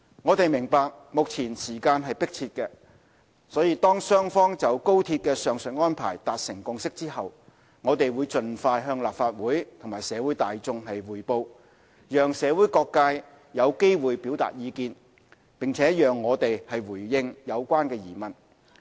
我們明白，目前時間迫切，當雙方就高鐵的上述安排達成共識後，我們會盡快向立法會和社會大眾匯報，讓社會各界有機會表達意見，並讓我們回應有關疑問。